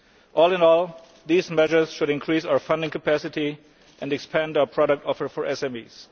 All in all, these measures should increase our funding capacity and expand our product offer for SMEs.